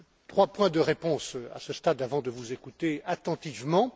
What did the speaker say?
Trois points de réponse à ce stade avant de vous écouter attentivement.